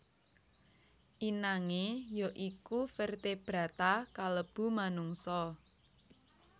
Inangé ya iku vertebrata kalebu manungsa